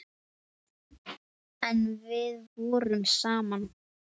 En við vorum saman.